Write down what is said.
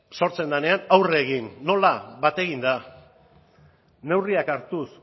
sortzen denean aurre egin nola bat eginda neurriak hartuz